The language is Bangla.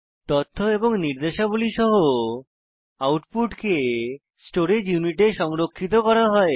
তথ্য এবং নির্দেশাবলী সহ আউটপুট কে স্টোরেজ ইউনিটে সংরক্ষিত করা হয়